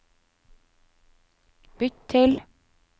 bytt til